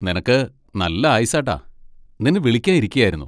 നിനക്ക് നല്ല ആയുസ്സാട്ടാ, നിന്നെ വിളിക്കാൻ ഇരിക്കയായിരുന്നു.